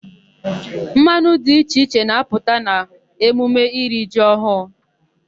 Mmanwụ dị iche iche na-apụta n'emume iri ji ọhụụ.